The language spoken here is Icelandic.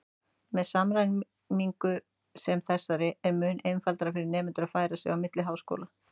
Með samræmingu sem þessari er mun einfaldara fyrir nemendur að færa sig á milli háskóla.